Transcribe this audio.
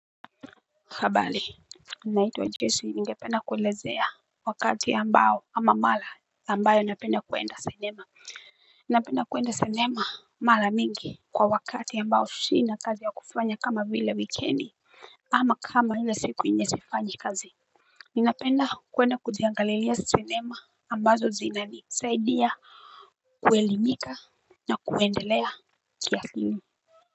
Habali. Naitwa jeshi ningependa kuelezea. Wakati ambao ama mala ambayo napenda kuenda cinema. Napenda kuenda cinema mala mingi. Kwa wakati ambao shina kazi ya kufanya kama vile wikendi. Ama kama hile siku yenye sifanyi kazi. Ninapenda kuenda kujiangalilia cinema ambazo zinanisaidia. Kuelimika. Na kuendelea kia hini.